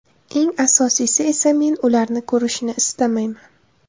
Eng asosiysi esa, men ularni ko‘rishni istamayman!